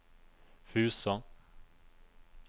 Fusa